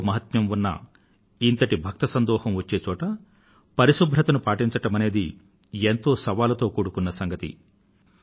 ఎంతో మహాత్మ్యం ఉన్న ఇంతటి భక్త సందోహం వచ్చే చోటు పరిశుభ్రతను పాటించడమనేది ఎంతో సవాలుతో కూడకున్న సంగతి